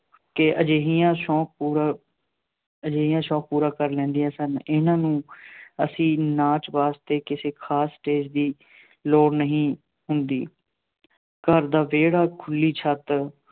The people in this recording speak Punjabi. ਕੇ ਅਜਿਹੀਆਂ ਸੌਂਕ ਪੂਰਾ, ਅਜਿਹੀਆਂ ਸ਼ੌਂਕ ਪੂਰਾ ਕਰ ਲੈਂਦੀਆਂ ਸਨ। ਇਹਨਾ ਨੂੰ ਅਸੀਂ ਨਾਚ ਵਾਸਤੇ ਕਿਸੇ ਖਾਸ ਸਟੇਜ਼ ਦੀ ਲੋੜ ਨਹੀਂ ਹੁੰਦੀ। ਘਰ ਦਾ ਵਿਹੜਾ, ਖੁੱਲ੍ਹੀ ਛੱਤ